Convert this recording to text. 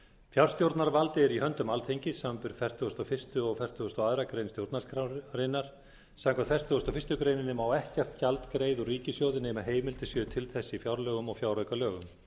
fjárstjórnarvaldið er í höndum alþingis samanber fertugustu og fyrsta og fertugasta og aðra grein stjórnarskrárinnar samkvæmt fertugustu og fyrstu grein má ekkert gjald greiða úr ríkissjóði nema heimild sé til þess í fjárlögum og fjáraukalögum